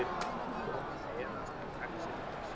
Jóhanna efast um gagnsemi þessa.